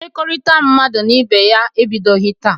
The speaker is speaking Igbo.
Mmekọrịta mmadụ na ibe ya ebidoghi taa.